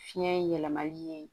Fiɲɛ yɛlɛmali ye